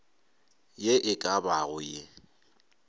ye e ka bago ye